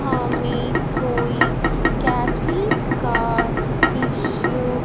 हमें कोई कैफे का दृश्य--